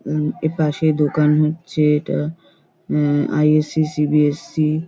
উম এপাশে দোকান হচ্ছে এটা-আ এ আই.এস.সি. সি.বি.এস.সি. ।